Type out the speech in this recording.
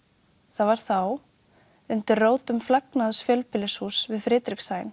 það var þá undir rótum fjölbýlishúss við